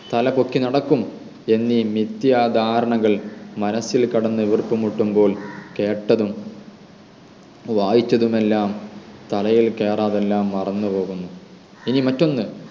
തല പൊക്കി നടക്കും എന്നീ മിഥ്യ ധാരണകൾ മനസ്സിൽ കിടന്ന് വീർപ്പുമുട്ടുമ്പോൾ കേട്ടതും വായിച്ചതും എല്ലാം തലയിൽ കേറാതെ എല്ലാം മറന്ന്പോകുന്നു ഇനി മറ്റൊന്ന്